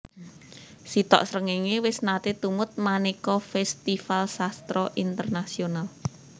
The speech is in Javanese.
Sitok Srengenge wis nate tumut maneka festival sastra internasional